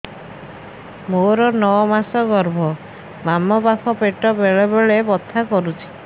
ମୋର ନଅ ମାସ ଗର୍ଭ ବାମ ପାଖ ପେଟ ବେଳେ ବେଳେ ବଥା କରୁଛି